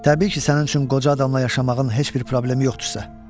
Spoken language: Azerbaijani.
Təbii ki, sənin üçün qoca adamla yaşamağın heç bir problemi yoxdursa.